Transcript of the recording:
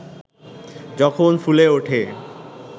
যখন ফুলে ওঠে